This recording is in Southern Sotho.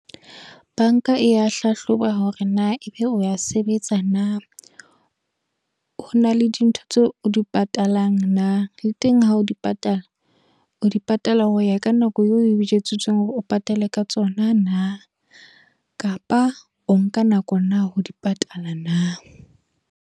Banka e ya hlahloba hore na ebe o ya sebetsa na. Ho na le dintho tseo o di patalang na. Le teng ha o di patala, o di patala ho ya ka nako eo o jwetsitse hore o patale ka tsona na. Kapa o nka nako na ho di patala na.